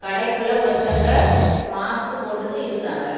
கடைக்குள்ள ஒருத்தங்க மாஸ்க்கு போட்டுட்டு இருக்காங்க.